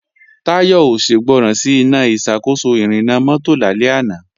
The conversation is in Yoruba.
Táyọ̀ ò ṣègbọràn sí Iná ìṣàkóso ìrìnnà mọ́tò lálẹ́ àná